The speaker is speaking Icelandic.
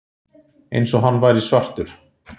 Eins og hann væri svartur.